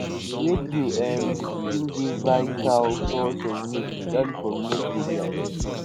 radio um still dey vital source of news especially for remote areas